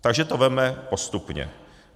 Takže to vezměme postupně.